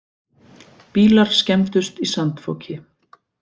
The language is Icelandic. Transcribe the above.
Bílar skemmdust í sandfoki